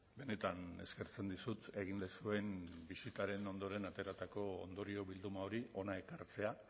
benetan eskertzen dizut egin duzuen bisitaren ondoren ateratako ondorio bilduma hori hona ekartzea